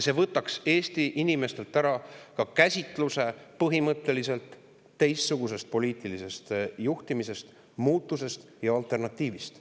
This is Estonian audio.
See võtaks Eesti inimestelt ära ka käsitluse põhimõtteliselt teistsugusest poliitilisest juhtimisest, muutusest ja alternatiivist.